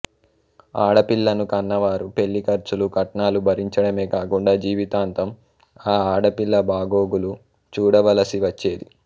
ఆడపిల్లను కన్నవారు పెళ్ళి ఖర్చులు కట్నాలు భరించడమే కాకుండా జీవితాంతం ఆ పిల్ల బాగోగులు చూడవలసివచ్చేది